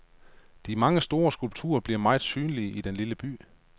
De mange store skulpturer bliver meget synlige i den lille by.